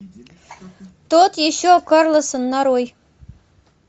тот еще карлсон нарой